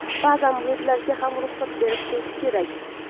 Ba’zan bulutlarga ham ruxsat berib turish kerak.